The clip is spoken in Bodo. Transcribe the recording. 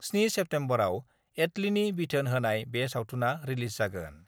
7 सेप्तेम्बरआव एटलिनि बिथोन होनाय बे सावथुनआ रिलिज जागोन।